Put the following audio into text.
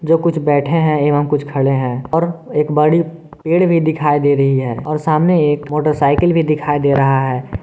जो कुछ बैठे हैं एवं कुछ खड़े हैं और एक बड़ी पेड़ भी दिखाई दे रही है और सामने एक मोटरसाइकिल भी दिखाई दे रहा है।